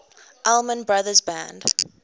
allman brothers band